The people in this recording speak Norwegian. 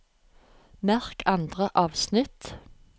Merk andre avsnitt